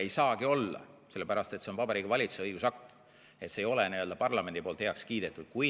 Ei saagi olla, sellepärast et see on Vabariigi Valitsuse õigusakt, see ei ole parlamendi poolt heaks kiidetud.